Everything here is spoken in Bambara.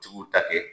Jigiw ta kɛ